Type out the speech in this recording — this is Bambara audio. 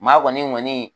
Maa kɔni